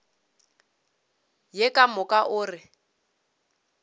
ye ka moka o re